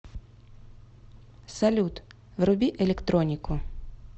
салют вруби электронику